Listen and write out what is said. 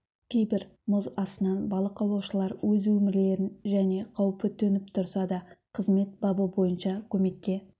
кейбір мұз астынан балық аулаушылар өз өмірлерін және қауіп төніп тұрса да қызмет бабы бойынша көмекке